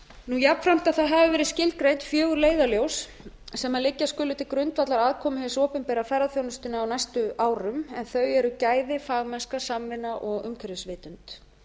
við íslandsstofu jafnframt að það hafi verið skilgreint fjögur leiðarljós sem liggja skulu til grundvallar aðkomu hins opinbera á ferðaþjónustuna á næstu árum en þau eru gæði fagmennska samvinna og umhverfisvitund